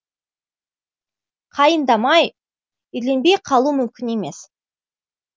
қайындамай үйленбей қалу мүмкін емес